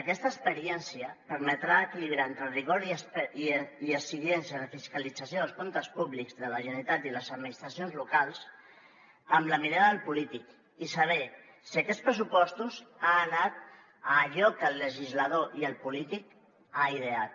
aquesta experiència permetrà equilibrar entre el rigor i exigència de fiscalització dels comptes públics de la generalitat i les administracions locals amb la mirada del polític i saber si aquests pressupostos han anat a allò que el legislador i el polític han ideat